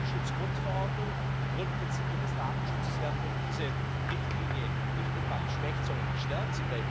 Die Datenschutzgrundverordnung, die Grundprinzipien des Datenschutzes werden durch diese Richtlinie nicht etwa geschwächt, sondern gestärkt.